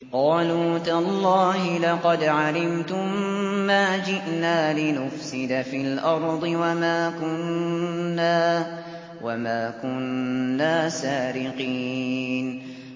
قَالُوا تَاللَّهِ لَقَدْ عَلِمْتُم مَّا جِئْنَا لِنُفْسِدَ فِي الْأَرْضِ وَمَا كُنَّا سَارِقِينَ